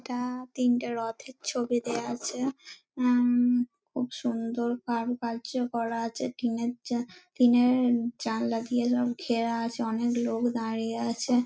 এটা তিনটে রথের ছবি দেওয়া আছে উম-উম খুব সুন্দর কারুকার্য করা আছে টিনের যা টিনের জালনা দিয়ে ঘেরা আছে অনেক লোক দাঁড়িয়ে আছে।